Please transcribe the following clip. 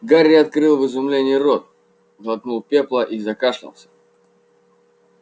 гарри открыл в изумлении рот глотнул пепла и закашлялся